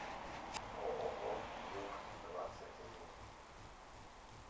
ооо юг двадцать один